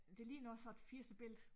Det ligner noget fra et firserbillede